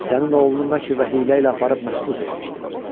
Sənin oğlunu məkr və hiylə ilə aparıb məhbus etmişdi.